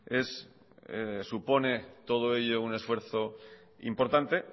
supone todo ello un esfuerzo importante